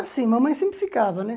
Assim, mamãe sempre ficava, né?